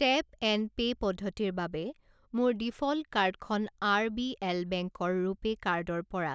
tap and pay পদ্ধতিৰ বাবে মোৰ ডিফ'ল্ট কাৰ্ডখন আৰবিএল বেংক ৰ ৰুপে কাৰ্ড ৰ পৰা